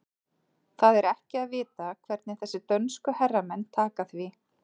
Það er ekki að vita hvernig þessir dönsku herramenn taka því.